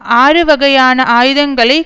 ஆறுவகையான ஆயுதங்களை